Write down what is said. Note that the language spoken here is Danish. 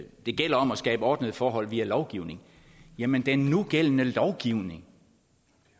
det gælder om at skabe ordnede forhold via lovgivning jamen den nugældende lovgivning